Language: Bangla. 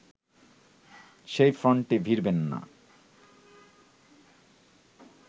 সেই ফ্রন্টে ভিড়বেন না